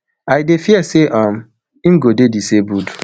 i dey fear say um im go dey disabled